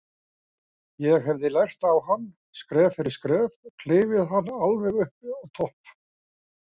Ég hefði lært á hann, skref fyrir skref, klifið hann alveg upp á topp.